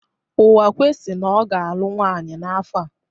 Uwakwe si na ọ ga-alụ nwaanyị n'afọ a.